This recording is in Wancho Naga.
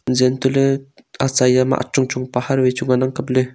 jeh an tohle acha ya ma achung chung pahar wai chu ngan ang kaple.